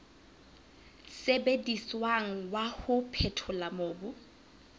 sebediswang wa ho phethola mobu